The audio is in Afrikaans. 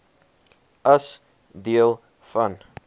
as deel van